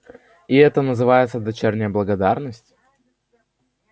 и это называется дочерняя благодарность